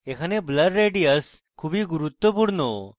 এখানে blur radius খুবই গুরুত্বপূর্ণ